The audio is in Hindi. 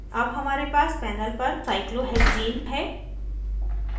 अब हमारे पास panel पर cyclohexene है